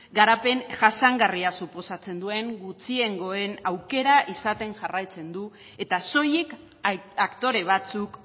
garapen jasangarria suposatzen duen gutxiengoen aukera izaten jarraitzen du eta soilik aktore batzuk